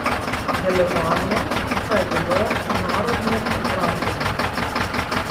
Delovanje pa je bilo narodno obrambno.